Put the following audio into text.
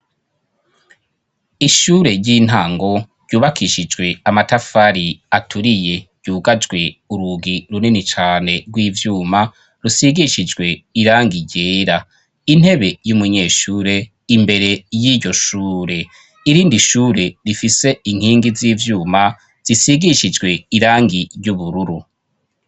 Ishure ry'intango ryubakishijwe amatafari aturiye , ryugajwe urugi runini cane rw'ivyuma ,rusigishijwe irangi ryera, intebe y'umunyeshure imbere y'iryo shure , irindi shure rifise inkingi z'ivyuma ,zisigishijwe irangi ry'ubururu.